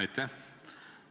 Aitäh!